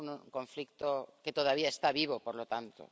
Es un conflicto que todavía está vivo, por lo tanto.